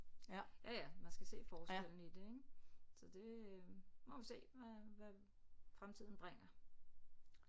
Ja ja ja man skal se forskellen i det ik så det nu må vi se hvad hvad fremtiden bringer